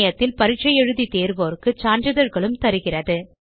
இணையத்தில் பரிட்சை எழுதி தேர்வோருக்கு சான்றிதழ்களும் தருகிறது